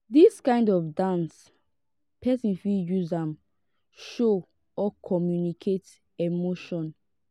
dis kind of dance person fit use am show or communicate emotion